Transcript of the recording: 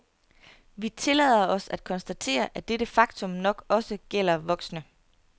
Vi tillader os at konstatere, at dette faktum nok også gælder voksne.